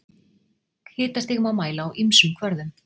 Hitastig má mæla á ýmsum kvörðum.